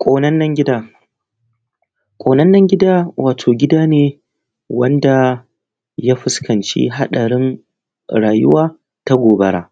Ƙonannan gida. Ƙonannan gida, wato gida ne wanda ya fuskanci haɗarin rayuwa ta gobara.